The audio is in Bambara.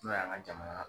N'o y'an ka jamana